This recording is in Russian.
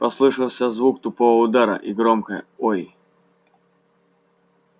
послышался звук тупого удара и громкое ой